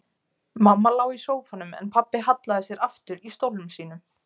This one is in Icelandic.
Mamma lá í sófanum en pabbi hallaði sér aftur í stólnum sínum.